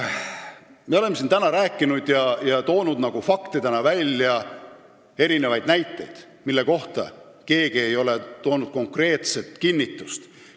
Me oleme siin täna toonud just nagu faktidena näiteid, mille kohta ei ole keegi konkreetset kinnitust andnud.